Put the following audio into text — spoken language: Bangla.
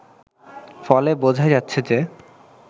ফলে বোঝাই যাচ্ছে যে